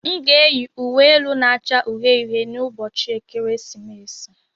M ga-eyi uwe elu na-acha uhie uhie n'ụbọchị ekeresimesi.